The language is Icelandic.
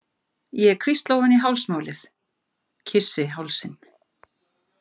Ég hvísla ofan í hálsmálið, kyssi hálsinn.